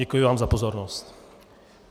Děkuji vám za pozornost.